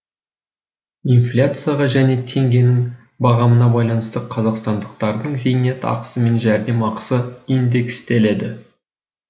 инфляцияға және теңгенің бағамына байланысты қазақстандықтардың зейнетақысы мен жәрдемақысы индекстеледі